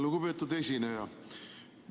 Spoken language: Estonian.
Lugupeetud esineja!